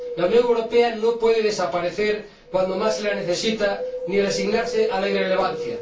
La Unión Europea no puede desaparecer cuando más se la necesita, ni resignarse a la irrelevancia.